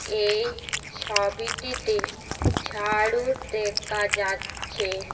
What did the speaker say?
এই ছাবিটিতে ঝাড়ু দেকা যাচ্চে।